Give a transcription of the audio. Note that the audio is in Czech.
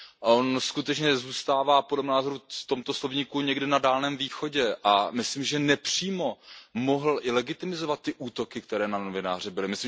On skutečně zůstává, podle mého názoru, v tomto slovníku někde na Dálném východě a myslím, že nepřímo mohl i legitimizovat ty útoky, které na novináře byly.